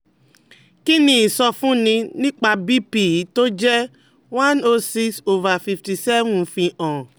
Kí ni ìsọfúnni nípa BP yìí tó jẹ́ one o six over fifty seven fi hàn?